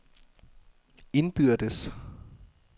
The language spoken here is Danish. indbyrdes